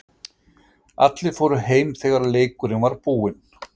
Allir fóru heim þegar leikurinn var búinn.